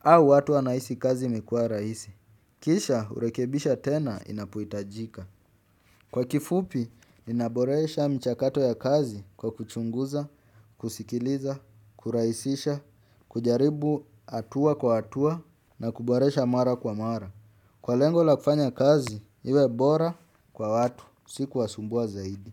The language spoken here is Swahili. Au watu wanahisi kazi imekuwa rahisi. Kisha urekebisha tena inapoitajika. Kwa kifupi, inaboresha mchakato ya kazi kwa kuchunguza, kusikiliza, kurahisisha kujaribu hatua kwa hatua na kuboresha mara kwa mara kwa lengo la kufanya kazi iwe bora kwa watu si kuwasumbua zaidi.